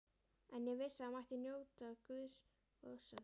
En ég vissi að það mætti njóta góðs af þeim.